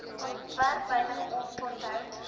ontwerp wynig oponthoud